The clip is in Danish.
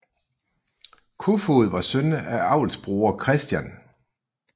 Koefoed var søn af avlsbruger Chr